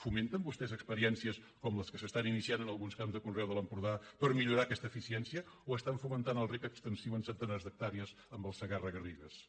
fomenten vostès experiències com les que s’estan iniciant en alguns camps de conreu de l’empordà per millorar aquesta eficiència o estan fomentant el rec extensiu en centenars d’hectàrees amb el segarra garrigues